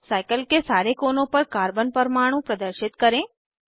cycle के सारे कोनों पर कार्बन परमाणु प्रदर्शित करें